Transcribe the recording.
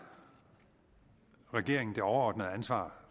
regeringen det overordnede ansvar